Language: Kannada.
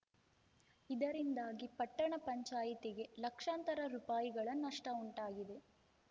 ಇದರಿಂದಾಗಿ ಪಟ್ಟಣ ಪಂಚಾಯಿತಿಗೆ ಲಕ್ಷಾಂತರ ರುಪಾಯಿಗಳ ನಷ್ಟಉಂಟಾಗಿದೆ